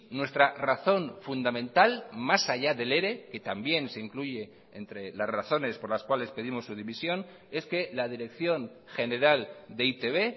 nuestra razón fundamental más allá del ere que también se incluye entre las razones por las cuales pedimos su dimisión es que la dirección general de e i te be